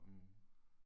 Mh